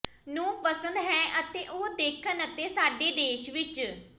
ਨੂੰ ਪਸੰਦ ਹੈ ਅਤੇ ਉਹ ਦੇਖਣ ਅਤੇ ਸਾਡੇ ਦੇਸ਼ ਵਿੱਚ